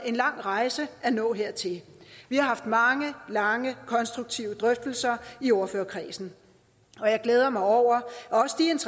en lang rejse at nå hertil vi har haft mange og lange konstruktive drøftelser i ordførerkredsen og jeg glæder mig over